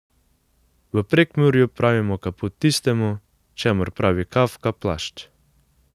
V Prekmurju pravimo kaput tistemu, čemur pravi Kafka plašč.